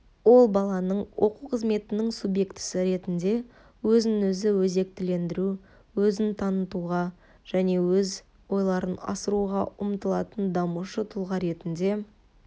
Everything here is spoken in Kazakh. ол баланың оқу қызметінің субъектісі ретінде өзін-өзі өзектілендіру өзін танытуға және өз ойларын асыруға ұмтылатын дамушы тұлға ретінде